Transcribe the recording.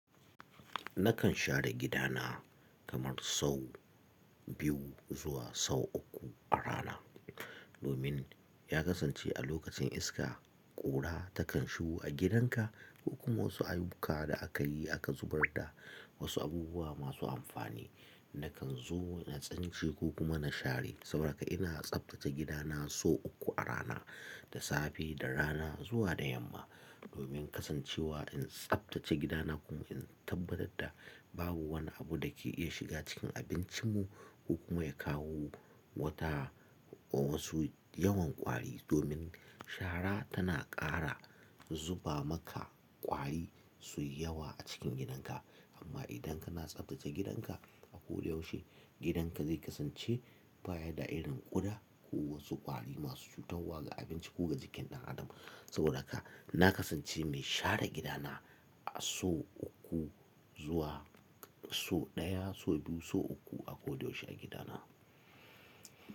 Nakan share gida na kamar sau biyu zuwa sau uku a rana. Domin ya kasance a lokacin iska, ƙura takan shigo a gidan ka. Kuma wasu ayuka da aka yi aka zubar da wasu abubuwa masu amfani. Nakan zo na tsance ko kuma na share. Saboda haka ina tsaftace gidana sau uku a rana, da safe, da rana zuwa da yamma. Domin kasancewa in tsaftace gidana kuma in tabbatar da babu wani abu da ke iya shiga cikin abincin mu, ko kuma ya kawo wata wasu yawan ƙwari. Domin shara tana ƙara zuba maka ƙwari su yi yawa a cikin gidan ka. Amma idan kana tsaftace gidan ka a ko da yaushe, gidan ka zai kasance baya da irin ƙuda ko wasu ƙwari masu tahowa ga abinci ko ga jikin ɗan Adam. Saboda haka na kasance mai share gida na, a sau uku zuwa sau ɗaya, sau biyu, sau uku a ko da yaushe a gida na.